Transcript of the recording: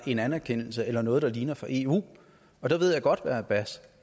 en anerkendelse eller noget der ligner fra eu og der ved jeg godt hvad abbas